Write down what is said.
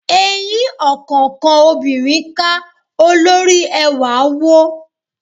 Eyín ọ̀kánkán obinrin ká, olóri ẹwà wó.